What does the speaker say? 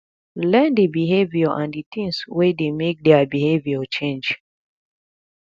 learn di behaviour and di things wey dey make their behavior change